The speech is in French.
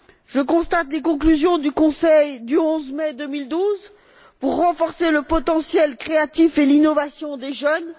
Je prends acte des conclusions du Conseil du 11 mai 2012 visant à renforcer le potentiel créatif et l'innovation des jeunes.